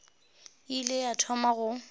e ile ya thoma go